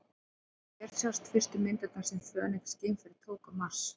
Hér sjást fyrstu myndirnar sem Fönix-geimfarið tók á Mars.